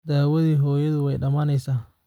Daawadii hooyadu way dhamaanaysaa.